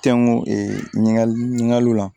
Tɛŋun ɲiningali ɲininkali la